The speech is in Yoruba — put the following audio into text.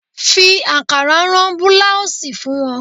Fi ankara rán búláósì fún wọn.